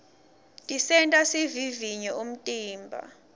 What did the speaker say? tisenta sivivinye umtimba